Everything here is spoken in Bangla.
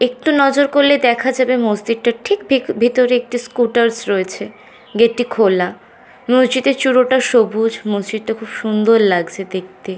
একটু নজর করলে দেখা যাবে মসজিদ টার ঠিক ভিতরে একটি স্কুটারস রয়েছে গেট টি খোলা মসজিদের চূড়ো টা সবুজ মসজিদ টা খুব সুন্দর লাগছে দেখতে--